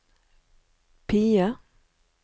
PIE